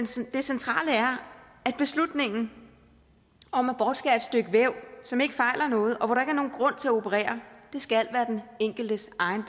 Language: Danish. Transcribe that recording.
centrale er at beslutningen om at bortskære et stykke væv som ikke fejler noget og hvor der ikke er nogen grund til at operere skal være den enkeltes egen